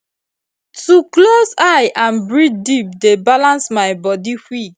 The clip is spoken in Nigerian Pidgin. to close eye and breathe deep dey balance my body quick